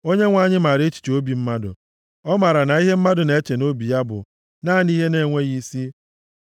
Onyenwe anyị maara echiche obi mmadụ; ọ maara na ihe mmadụ na-eche nʼobi ya bụ naanị ihe na-enweghị isi.